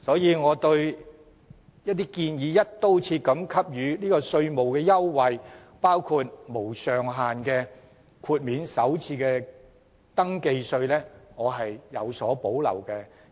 所以，對於建議"一刀切"給予稅務優惠，包括無上限豁免首次登記稅，我有所保留，